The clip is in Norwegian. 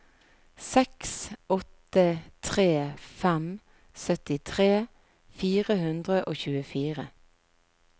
seks åtte tre fem syttitre fire hundre og tjuefire